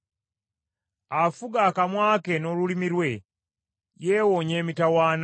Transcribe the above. Afuga akamwa ke n’olulimi lwe, yeewoonya emitawaana.